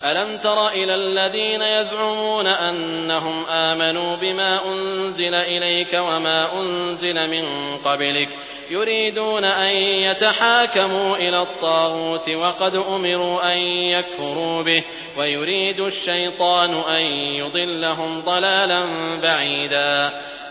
أَلَمْ تَرَ إِلَى الَّذِينَ يَزْعُمُونَ أَنَّهُمْ آمَنُوا بِمَا أُنزِلَ إِلَيْكَ وَمَا أُنزِلَ مِن قَبْلِكَ يُرِيدُونَ أَن يَتَحَاكَمُوا إِلَى الطَّاغُوتِ وَقَدْ أُمِرُوا أَن يَكْفُرُوا بِهِ وَيُرِيدُ الشَّيْطَانُ أَن يُضِلَّهُمْ ضَلَالًا بَعِيدًا